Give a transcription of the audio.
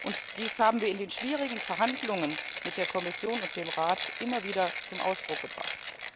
Und dies haben wir in den schwierigen Verhandlungen mit der Kommission und dem Rat immer wieder zum Ausdruck gebracht.